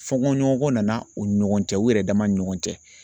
Fɔnkɔɲɔgɔncɛ nana u ni ɲɔgɔn cɛ u yɛrɛ dama ni ɲɔgɔn cɛ